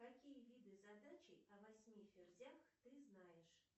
какие виды задачей о восьми ферзях ты знаешь